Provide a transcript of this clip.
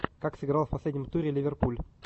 как сыграл в последнем туре ливерпуль